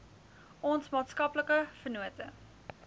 ons maatskaplike vennote